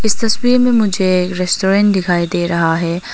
इस तस्वीर में मुझे रेस्टोरेंट दिखाई दे रहा है।